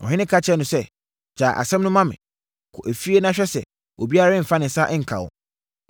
Ɔhene ka kyerɛɛ no sɛ, “Gyae asɛm no ma me. Kɔ efie na mɛhwɛ sɛ obiara remfa ne nsa nka no.”